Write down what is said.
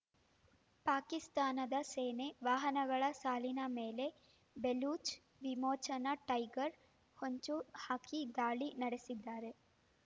ಪಾಕಿಸ್ತಾನದ ಸೇನೆ ವಾಹನಗಳ ಸಾಲಿನ ಮೇಲೆ ಬೆಲೂಚ್ ವಿಮೋಚನಾ ಟೈಗರ್ ಹೊಂಚು ಹಾಕಿ ದಾಳಿ ನಡೆಸಿದ್ದಾರೆ